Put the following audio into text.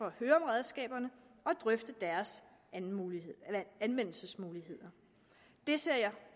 at høre om redskaberne og drøfte deres anvendelsesmuligheder det ser jeg